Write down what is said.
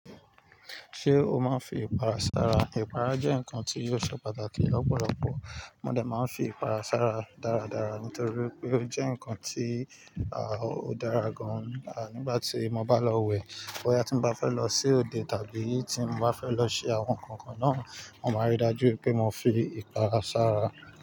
Ṣé o máa ń fi ìpara sára? Ìpara jẹ́ nǹkan tí yóò ṣe pàtàkì lọ́pọ̀lọpọ̀. Mo de máa ń fi ìpara sára dáradára nítorí wipé ó jẹ́ nǹkan tí, ó dára gan-an, nígbà tí mo bá lọ wẹ̀. Bo ya tí mo bá fẹ́ lọ sí òde tàbí tí n bá fẹ́ lọ ṣe àwọn nǹkan kan náà, mo máa rí i dájú wipé mo fi ìpara sára.